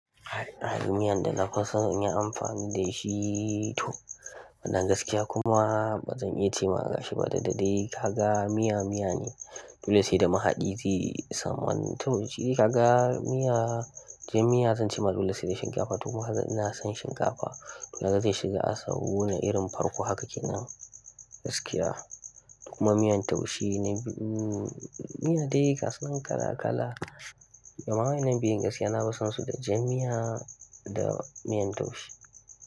Hadin miyan da na fi son yin amfani da shi to bana gaskiya kuma ba zan iya ce ma gashi ba dai duk da dai ka ga miya miya ne. Dole sai da mahaɗi zai samu to shi dai ka ga miya, jan miya zan ce ma dooe sai da shinkafa. To kuma ina son shinkafa. To haka zai shiga a sahuna irin farko haka kenan gaskiya. Kuma miyan taushe na biyu, miya dai ga su nan kala-kala. Amma waɗannan biyun gaskiya na fi son su da jan miya da miyan taushe.